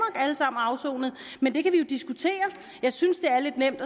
alle sammen og afsonede men det kan vi jo diskutere jeg synes det er lidt nemt